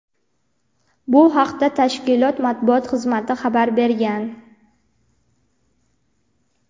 Bu haqda tashkilot matbuot xizmati xabar bergan.